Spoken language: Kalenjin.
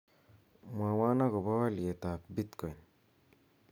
mwowon agopo olyeet ab bitcoin